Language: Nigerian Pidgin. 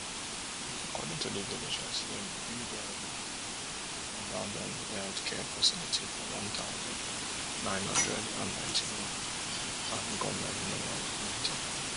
according to di villagers dem build um abandoned healthcare facility for one thousand, nine hundred and ninety-one and goment no um maintain am